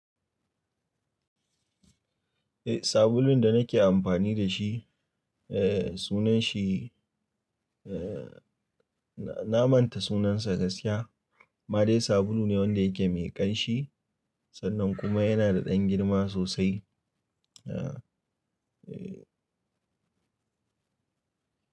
Eh, sabulun da nake amfani da shi, eh sunanshi, eh na manta sunansa gaskiya. Made sabulu ne wanda yake mai ƙanshi sannan kuma yana da ɗan girma sosai. Eh, eh.